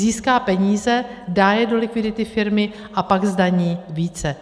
Získá peníze, dá je do likvidity firmy a pak zdaní více.